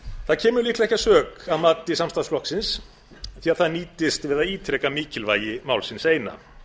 það kemur líklega ekki að sök að mati samstarfsflokksins því það nýtist við að ítreka mikilvægi málsins eina